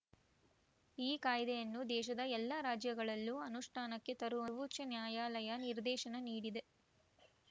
ಈ ಕಾಯ್ದೆಯನ್ನು ದೇಶದ ಎಲ್ಲಾ ರಾಜ್ಯಗಳಲ್ಲೂ ಅನುಷ್ಠಾನಕ್ಕೆ ತರುವಂತೆ ಸರ್ವೋಚ್ಛ ನ್ಯಾಯಾಲಯ ನಿರ್ದೇಶನ ನೀಡಿದೆ